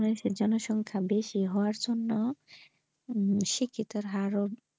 বাংলাদেশের জনসংখ্যা বেশি হওয়ার জন্য উম শিক্ষিতের হার ও।